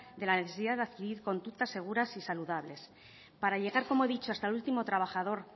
de la necesidad de adquirir conductas seguras y saludables para llegar como he dicho hasta el último trabajador